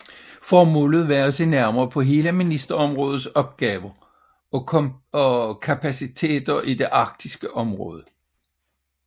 Formålet var at se nærmere på hele ministerområdets opgaver og kapaciteter i det arktiske område